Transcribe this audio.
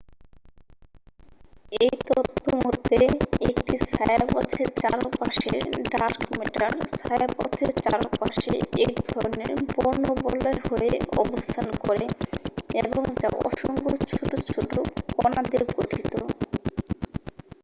এই তত্ত্ব মতে একটি ছায়াপথের চারপাশের ডার্ক ম্যাটার ছায়াপথের চারপাশে এক ধরণের বর্ণবলয় হয়ে অবস্থান করে এবং যা অসংখ্য ছোট ছোট কণা দিয়ে গঠিত